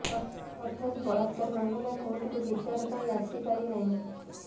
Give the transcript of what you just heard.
ଅର୍ଥାତ ବଳାକ୍ରାର ମାମଲା କୋର୍ଟକୁ ବିଚାର ପାଇଁ ଆସିପାରି ନାହିଁ